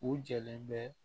U jɔlen bɛ